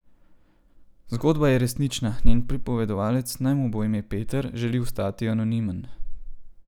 Zgodba je resnična, njen pripovedovalec, naj mu bo ime Peter, želi ostati anonimen.